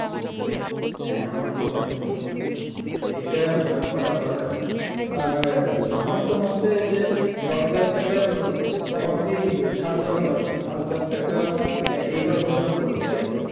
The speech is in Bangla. হ্যাঁ আমার তো ভালোই মনে হয় এটা করা দরকার আর আমার তো মতে যে দশ লাখ টাকার অব্দি ছাড় দেওয়া দরকার সাত লাখ টাকা এইবার ঘোষণা করলো তাই তো